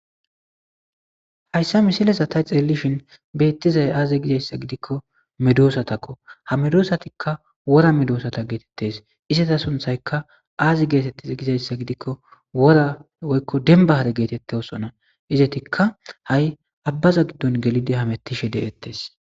Haysa misilezan ta xelishin betizay aze gizaysa gidikko medosatakko ha medosatikka wora medosata getetese izeta sunthayka azi getetize gizaysa gidikko wora woyko denban hare getetosona izetikka ha'i abbaza gidon gelidi hametishe de'etes